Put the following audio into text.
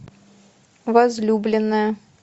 возлюбленная